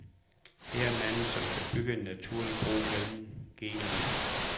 Han er manden, som kan bygge en naturlig bro mellem genrerne.